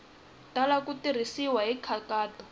tala ku tirhisiwa hi nkhaqato